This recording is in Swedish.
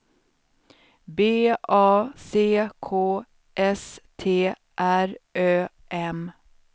B A C K S T R Ö M